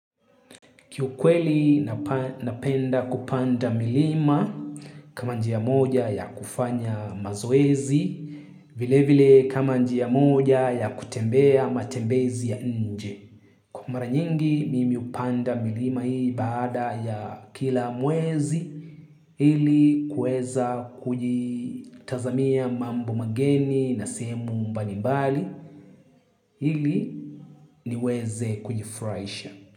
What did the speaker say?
Kiukweli napenda kupanda milima kama njia moja ya kufanya mazoezi vile vile kama njia moja ya kutembea matembezi ya nje. Kwa mara nyingi mimi hupanda milima hii baada ya kila mwezi ili kueza kujitazamia mambo mageni na sehemu mbalimbali ili niweze kujifurahisha.